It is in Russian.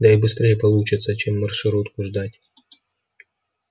да и быстрей получится чем маршрутку ждать